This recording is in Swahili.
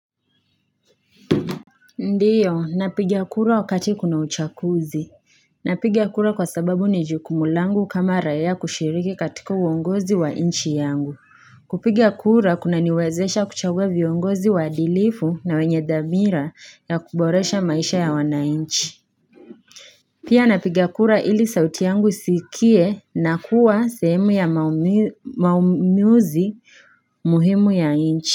Ndiyo napigia kura wakati kuna uchaguzi napiga kura kwa sababu ni jukumu langu kama raia kushiriki katika uongozi wa inchi yangu kupiga kura kunaniwezesha kuchagua viongozi waadilifu na wenye dhamira ya kuboresha maisha ya wanainchi pia napiga kura ili sauti yangu sikie na kuwa sehemu ya maumuzi muhimu ya inchi.